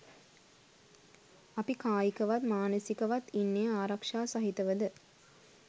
අපි කායිකවත් මානසිකවත් ඉන්නේ ආරක්ෂා සහිතවද?